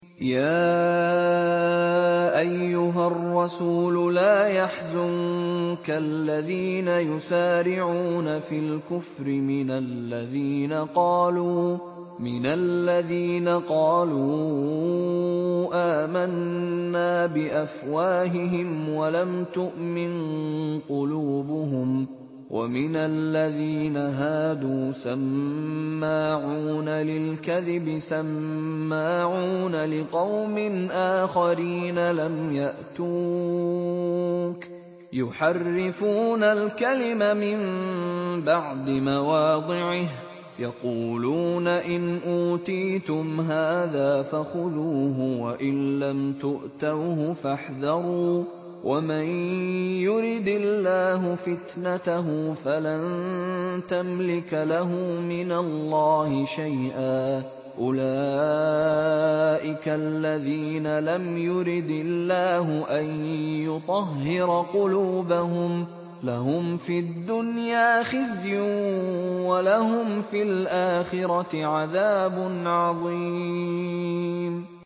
۞ يَا أَيُّهَا الرَّسُولُ لَا يَحْزُنكَ الَّذِينَ يُسَارِعُونَ فِي الْكُفْرِ مِنَ الَّذِينَ قَالُوا آمَنَّا بِأَفْوَاهِهِمْ وَلَمْ تُؤْمِن قُلُوبُهُمْ ۛ وَمِنَ الَّذِينَ هَادُوا ۛ سَمَّاعُونَ لِلْكَذِبِ سَمَّاعُونَ لِقَوْمٍ آخَرِينَ لَمْ يَأْتُوكَ ۖ يُحَرِّفُونَ الْكَلِمَ مِن بَعْدِ مَوَاضِعِهِ ۖ يَقُولُونَ إِنْ أُوتِيتُمْ هَٰذَا فَخُذُوهُ وَإِن لَّمْ تُؤْتَوْهُ فَاحْذَرُوا ۚ وَمَن يُرِدِ اللَّهُ فِتْنَتَهُ فَلَن تَمْلِكَ لَهُ مِنَ اللَّهِ شَيْئًا ۚ أُولَٰئِكَ الَّذِينَ لَمْ يُرِدِ اللَّهُ أَن يُطَهِّرَ قُلُوبَهُمْ ۚ لَهُمْ فِي الدُّنْيَا خِزْيٌ ۖ وَلَهُمْ فِي الْآخِرَةِ عَذَابٌ عَظِيمٌ